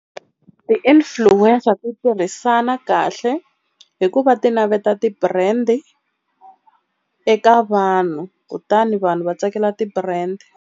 Ti-influencer ti tirhisana kahle hikuva ti naveta ti-brand eka vanhu kutani vanhu va tsakela ti-brand.